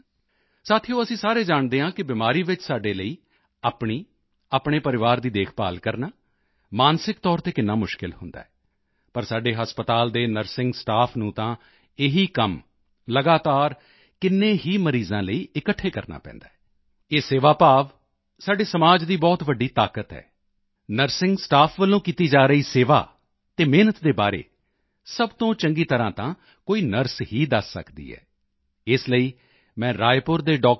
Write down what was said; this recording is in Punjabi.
ਸਾਥੀਓ ਅਸੀਂ ਸਾਰੇ ਜਾਣਦੇ ਹਾਂ ਕਿ ਬਿਮਾਰੀ ਵਿੱਚ ਸਾਡੇ ਲਈ ਆਪਣੀ ਆਪਣੇ ਪਰਿਵਾਰ ਦੀ ਦੇਖਭਾਲ ਕਰਨਾ ਮਾਨਸਿਕ ਤੌਰ ਤੇ ਕਿੰਨਾ ਮੁਸ਼ਕਿਲ ਹੁੰਦਾ ਹੈ ਪਰ ਸਾਡੇ ਹਸਪਤਾਲਾਂ ਦੇ ਨਰਸਿੰਗ ਸਟਾਫ ਨੂੰ ਤਾਂ ਇਹੀ ਕੰਮ ਲਗਾਤਾਰ ਕਿੰਨੇ ਹੀ ਮਰੀਜ਼ਾਂ ਲਈ ਇਕੱਠੇ ਕਰਨਾ ਪੈਂਦਾ ਹੈ ਇਹ ਸੇਵਾ ਭਾਵ ਸਾਡੇ ਸਮਾਜ ਦੀ ਬਹੁਤ ਵੱਡੀ ਤਾਕਤ ਹੈ ਨਰਸਿੰਗ ਸਟਾਫ ਵੱਲੋਂ ਕੀਤੀ ਜਾ ਰਹੀ ਸੇਵਾ ਅਤੇ ਮਿਹਨਤ ਦੇ ਬਾਰੇ ਸਭ ਤੋਂ ਚੰਗੀ ਤਰ੍ਹਾਂ ਤਾਂ ਕੋਈ ਨਰਸ ਹੀ ਦੱਸ ਸਕਦੀ ਹੈ ਇਸ ਲਈ ਮੈਂ ਰਾਏਪੁਰ ਦੇ ਡਾਕਟਰ ਬੀ